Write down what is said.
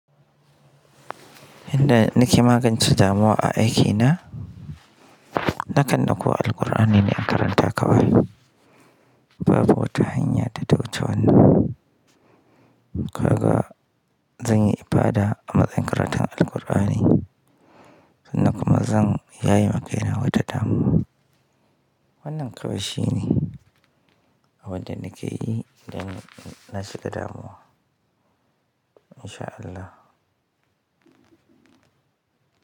Inda nake magance damuwa a aikina, na kan ɗakko Alqur'ani ne karanta kawai. Babu wata hanya ta dauce wannan. Kaga, zan yi ibada a matsayin karatun Alqur'ani, sannan kuma zan yaye ma kaina wata damuwa. Wannan kawai shine abin da nake yi idan nashiga damuwa. In sha Allah.